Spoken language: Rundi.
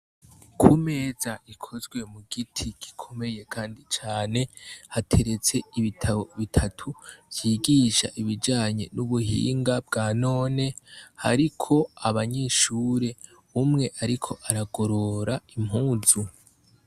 Ku meza ikozwe mu giti gikomeye kandi cane, hateretse ibitabo bitatu vyigisha ibijanye n'ubuhinga bwa none, hariko abanyeshure, umwe ariko aragorora impuzu.